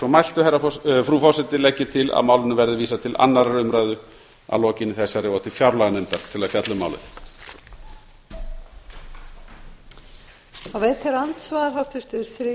mæltu frú forseti legg ég til að málinu verði vísað til annarrar umræðu að lokinni þessari og til fjárlaganefndar til að fjalla um málið